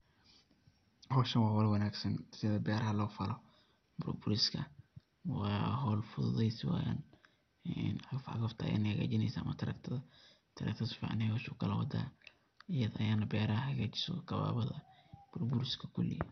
Howshan wa howl wanagsan sida beeraha lofalo burburiska wa howl fududeysi weyaan, cagafcagafta in ey hagajineyso ama taraktaa, taraktaada sificaney howsha ukala wada iyada ayana beraha hagajiso gobabada, burburiska kuli.